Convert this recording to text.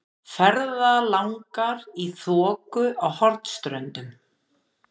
Ferðalangar í þoku á Hornströndum.